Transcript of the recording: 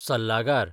सल्लागार